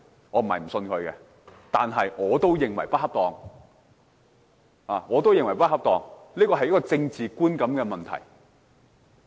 我並非不相信他，但我也認為他做得不恰當，因為這關乎政治觀感的問題。